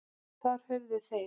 Þar höfðu þeir